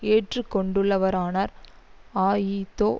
ஏற்றுக்கொண்டுள்ளவரானார் அஇதோதொச